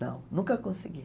Não, nunca consegui.